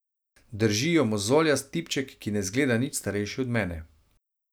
Drži jo mozoljast tipček, ki ne zgleda nič starejši od mene.